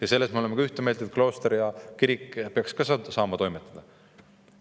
Ja selles me oleme ka ühte meelt, et klooster ja kirik peaksid samuti saama toimetada.